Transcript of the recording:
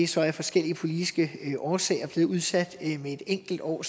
så af forskellige politiske årsager blevet udsat med et enkelt år